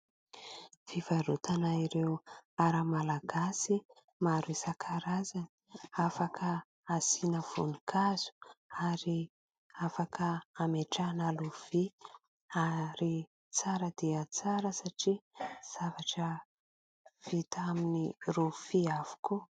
Fivarotana ireo ara Malagasy, maro isa-karazany. Afaka asiana voninkazo, ary afaka amehatrana rofia, ary tsara dia tsara, satria zavatra vita amin'ny rofia avokoa.